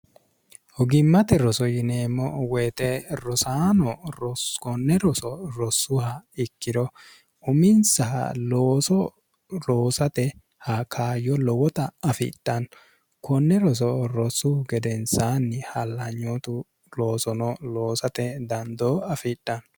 hogimmate roso yineemmo woyite rosaano rokonne roso rossuha ikkiro uminsa looso roosate ha kaayyo lowota afidhanno konne roso rossu gedensaanni hallanyootu loosono loosate dandoo afidhanno